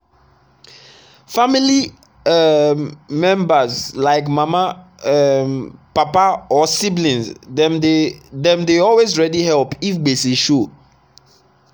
family um members like mama um papa or sibling dem dey dem dey always ready help if gbese show.